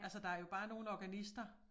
Altså der jo bare nogle organister